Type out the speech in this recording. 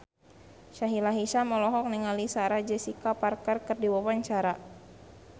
Sahila Hisyam olohok ningali Sarah Jessica Parker keur diwawancara